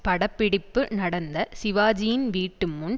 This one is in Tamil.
படப்பிடிப்பு நடந்த சிவாஜியின் வீட்டு முன்